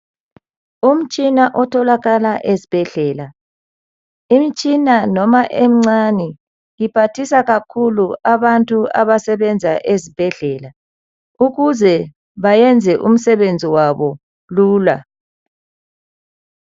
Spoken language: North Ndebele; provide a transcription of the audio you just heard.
Umtshina otholakala ezibhedlela. Imtshina, noma emncane, iphathisa kakhulu abantu abasebenza ezibhedlela. Ukuze bayenze umsebenzi wabo lula.